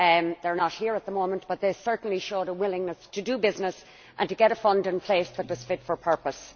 They are not here at the moment, but they certainly showed a willingness to do business and to get a fund in place that was fit for purpose.